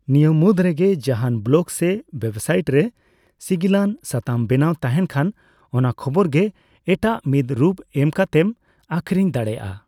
ᱱᱤᱭᱟᱹ ᱢᱩᱫᱽ ᱨᱮᱜᱮ ᱡᱟᱦᱟᱱ ᱵᱞᱚᱜ ᱥᱮ ᱳᱭᱮᱵᱽᱥᱟᱭᱤᱴ ᱨᱮ ᱥᱤᱜᱤᱞᱟᱱ ᱥᱟᱛᱟᱢ ᱵᱮᱱᱟᱣ ᱛᱟᱦᱮᱱ ᱠᱷᱟᱱ, ᱚᱱᱟ ᱠᱷᱚᱵᱚᱨ ᱜᱮ ᱮᱴᱟᱜ ᱢᱤᱫ ᱨᱩᱯ ᱮᱢ ᱠᱟᱛᱮᱢ ᱟᱹᱠᱷᱨᱤᱧ ᱫᱟᱲᱮᱹᱭᱟᱜᱼᱟ ᱾